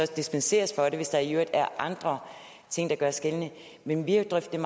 så dispenseres for det hvis der i øvrigt er andre ting der gør sig gældende men vi har drøftet